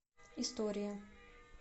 история